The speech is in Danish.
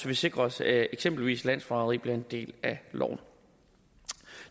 vi sikrer os at eksempelvis landsforræderi bliver en del af loven